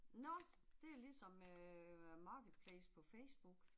Nåh, det er ligesom øh marketplace på Facebook